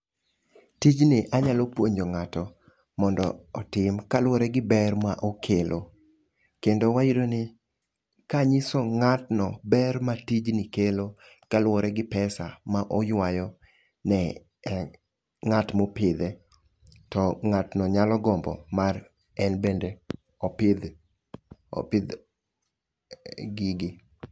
Tijni anyalo puonjo ng'ato mondo otim kaluwore gi ber ma okelo. Kendo wayudo ni kanyiso ng'atno ber ma tijni kelo kaluwore gi pesa ma oywayo ne ng'at mopidhe. To ng'atno nyalo gombo mar en bende opidh, opidh gigi.